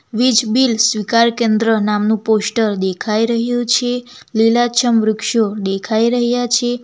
વીજ બીલ સ્વીકાર કેન્દ્ર નામનું પોસ્ટર દેખાઈ રહ્યું છે લીલાછમ વૃક્ષો દેખાઈ રહ્યા છે.